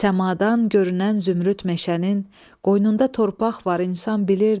Səmadan görünən zümrüd meşənin qoynunda torpaq var, insan bilirdi.